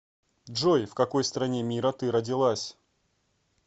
джой в какой стране мира ты родилась